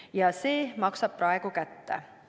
Ja see maksab praegu kätte.